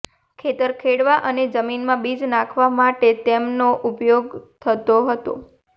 ખેતર ખેડવા અને જમીનમાં બીજ નાંખવા માટે તેમનો ઉપયોગ થતો હતો